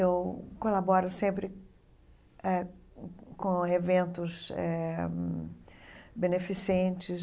Eu colaboro sempre eh com eventos eh hum beneficentes.